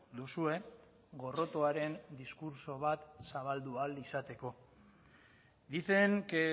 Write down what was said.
duzue gorrotoaren diskurtso bat zabaldu ahal izateko dicen que